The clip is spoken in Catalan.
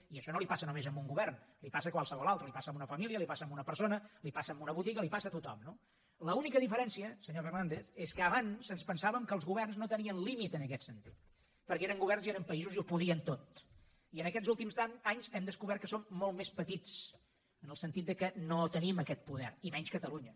i això no li passa només a un govern li passa a qualsevol altre li passa a una família li passa a una persona li passa a una botiga li passa a tothom no l’única diferència senyor fernàndez és que abans ens pensàvem que els governs no tenien límit en aquest sentit perquè eren governs i eren països i ho podien tot i en aquests últims anys hem descobert que som molt més petits en el sentit que no tenim aquest poder i menys catalunya